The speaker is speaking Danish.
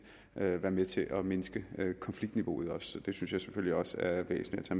være være med til at mindske konfliktniveauet det synes jeg selvfølgelig også er væsentligt at